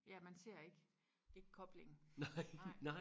ja man ser ikke et kobling nej